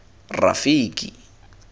rafiki